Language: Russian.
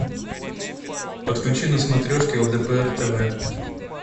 подключи на смотрешке лдпр тв